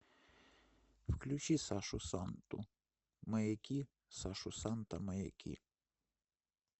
включи сашу санту маяки сашу санта маяки